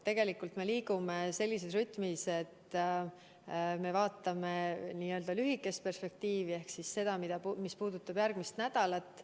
Tegelikult me liigume sellises rütmis, et me vaatame lühikest perspektiivi ehk seda, mis puudutab järgmist nädalat.